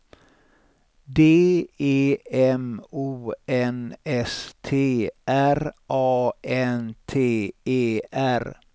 D E M O N S T R A N T E R